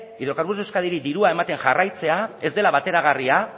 hidrocarburos de euskadiri dirua ematen jarraitzea ez dela bateragarria